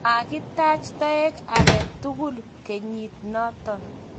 makitach toek age tugul kenyit noto